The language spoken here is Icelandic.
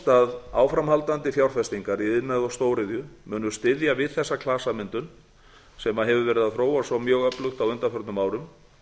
að áframhaldandi fjárfestingar í iðnaði og stóriðju bug styðja við þessa klasamyndun sem hefur verið að þróast svo mjög öflugt á undanförnum árum